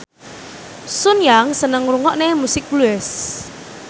Sun Yang seneng ngrungokne musik blues